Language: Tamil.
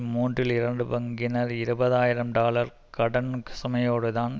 மூன்றில் இரண்டு பங்கினர் இருபது ஆயிரம் டாலர் கடன் சுமையோடு தான்